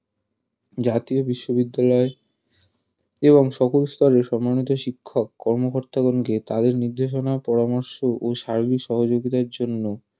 জাতীয় বিশ্ববিদ্যালয় ও সকল স্তরের সম্মানিত শিক্ষক কর্মকর্তাগণকে কাজের নির্দেশনা ও পরামর্শ ও সার্বিক সহযোগিতার জন্য